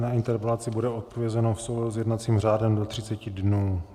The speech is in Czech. Na interpelaci bude odpovězeno v souladu s jednacím řádem do 30 dnů.